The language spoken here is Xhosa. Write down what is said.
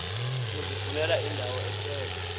uzifunele indawo ethe